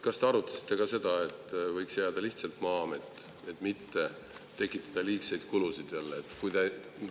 Kas te arutasite ka seda, et võiks jääda lihtsalt Maa-amet, et mitte tekitada jälle liigseid kulusid?